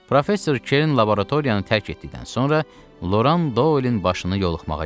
Professor Kern laboratoriyanı tərk etdikdən sonra Loran Dolinin başını yoluqmağa getdi.